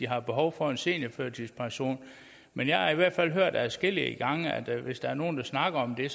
har behov for en seniorførtidspension men jeg har i hvert fald hørt adskillige gange at hvis der er nogle der snakker om det